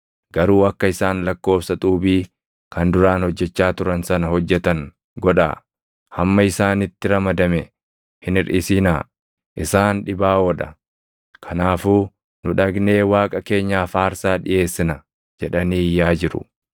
Garuu akka isaan lakkoobsa xuubii kan duraan hojjechaa turan sana hojjetan godhaa; hamma isaanitti ramadame hin hirʼisinaa. Isaan dhibaaʼoo dha; kanaafuu, ‘Nu dhaqnee Waaqa keenyaaf aarsaa dhiʼeessina’ jedhanii iyyaa jiru.